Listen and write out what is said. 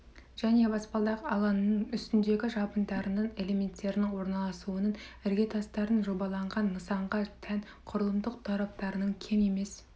және баспалдақ алаңының үстіндегі жабындарының элементерінің орналасуының іргетастардың жобаланған нысанға тән құрылымдық тораптарынан кем емес